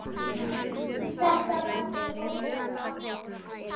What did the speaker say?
Þetta verður rosa gaman.